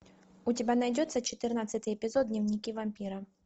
у тебя найдется четырнадцатый эпизод дневники вампира